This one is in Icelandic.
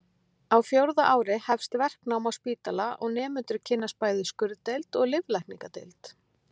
Á fjórða ári hefst verknám á spítala og nemendur kynnast bæði skurðdeild og lyflækningadeild.